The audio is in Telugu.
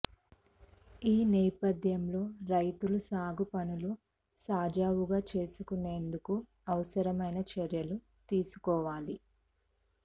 ఈ నేపథ్యంలో రైతులు సాగు పనులు సజావుగా చేసుకునేందుకు అవసరమైన చర్యలు తీసుకోవాలి